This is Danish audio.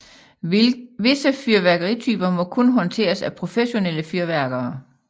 Visse fyrværkerityper må kun håndteres af professionelle fyrværkere